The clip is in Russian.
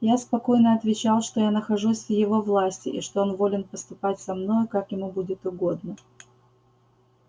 я спокойно отвечал что я нахожусь в его власти и что он волен поступать со мною как ему будет угодно